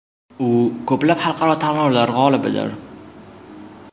U ko‘plab xalqaro tanlovlar g‘olibidir.